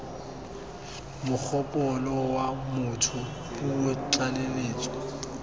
mogopolo wa motho puo tlaleletso